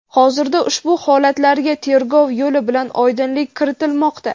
hozirda ushbu holatlarga tergov yo‘li bilan oydinlik kiritilmoqda.